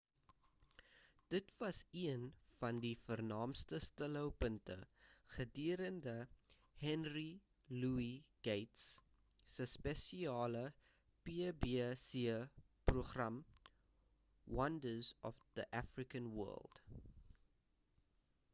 dit was een van die vernaamste stilhou punte gedurende henry louis gates se spesiale pbs program wonders of the african world